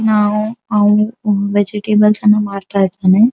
ನಾವು ಹಾಲು ವೆಜೆಟೇಬಲ್ಸ್ ಅನ್ನಾ ಮಾರತ್ತಾ ಇದೀನಿ.